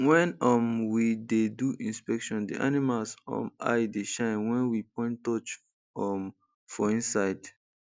when um we dey do inspection the animals um eye dey shine when we point torch um for inside